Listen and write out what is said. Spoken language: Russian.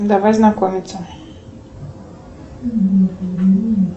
давай знакомиться